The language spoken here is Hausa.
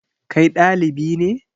Kai ɗalibi ne?